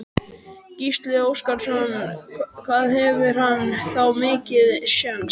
Gísli Óskarsson: Hvað hefur hann þá mikinn séns?